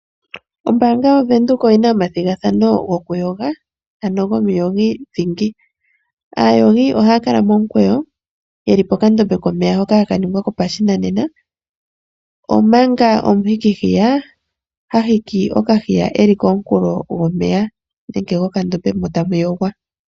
Ombaanga yaVenduka oyi na omathigathano gokuyoga ano gomuyogi dhingi. Aayogi ohaa kala momukweyo ye li pokandombe komeya hoka ha ka ningwa kopashinanena ,omanga omuhikihiya ha hiki okahiya e li komunkulo gomeya nenge gokandombe mo tamu yogwa.